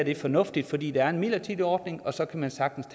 er fornuftigt fordi det her er en midlertidig ordning og så kan man sagtens